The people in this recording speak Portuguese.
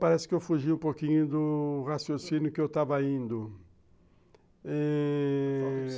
Parece que eu fugi um pouquinho do raciocínio que eu estava indo, eh...